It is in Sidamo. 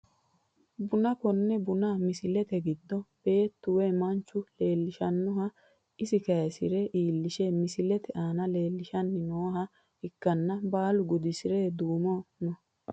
Buna kone buna misilete giddo beetu woyi manchu leelishanoha isi kayisire iilishire misilete aana leelishani nooha ikanna baalu gudisire duume no.